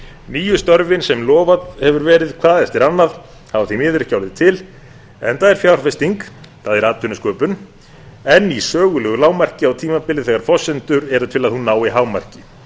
nýju störfin sem lofað hefur verið hvað eftir annað hafa því miður ekki orðið til enda er fjárfesting það er atvinnusköpun enn í sögulegu lágmarki á tímabili þegar forsendur eru til að hún nái hámarki